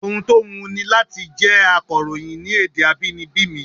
Ohun tó wùn ni láti jẹ́ akàròyìn ní èdè abínibí mi